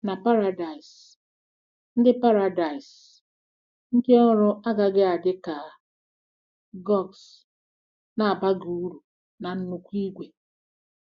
Na Paradaịs, ndị Paradaịs, ndị ọrụ agaghị adị ka cogs na-abaghị uru na nnukwu igwe.